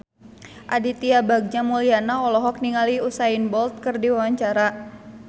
Aditya Bagja Mulyana olohok ningali Usain Bolt keur diwawancara